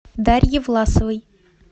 дарье власовой